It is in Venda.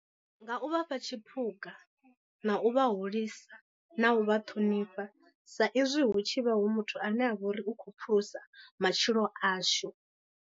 Nga u vha fha tshiphuga, na u vha hulisa, na u vha ṱhonifha, sa izwi hu tshi vha hu muthu ane a vha uri u khou phulusa matshilo ashu.